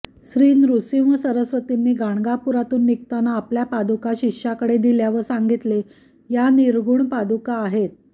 श्री नृसिंह सरस्वतींनी गाणगापूरातून निघताना आपल्या पादूका शिष्याकडे दिल्या व सांगितले या निर्गुण पादुका आहेत